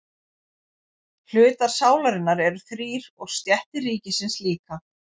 Hlutar sálarinnar eru þrír og stéttir ríkisins líka.